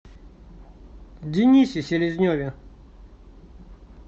денисе селезневе